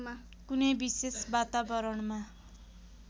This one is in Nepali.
कुनै विशेष वातावरणमा